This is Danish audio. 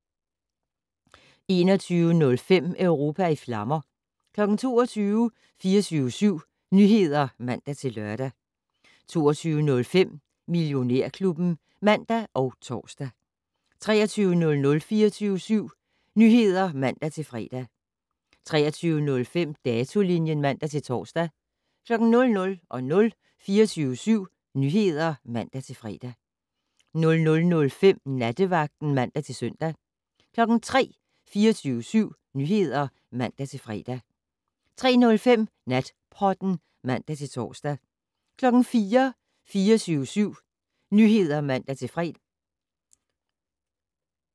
21:05: Europa i flammer 22:00: 24syv Nyheder (man-lør) 22:05: Millionærklubben (man og tor) 23:00: 24syv Nyheder (man-fre) 23:05: Datolinjen (man-tor) 00:00: 24syv Nyheder (man-fre) 00:05: Nattevagten (man-søn) 03:00: 24syv Nyheder (man-fre) 03:05: Natpodden (man-tor) 04:00: 24syv Nyheder (man-fre)